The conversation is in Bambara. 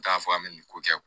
N t'a fɔ an bɛ nin ko kɛ